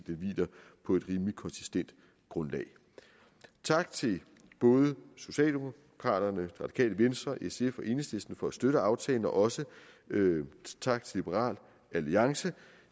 hviler på et rimeligt konsistent grundlag tak til både socialdemokraterne radikale venstre sf og enhedslisten for at støtte aftalen og også tak til liberal alliance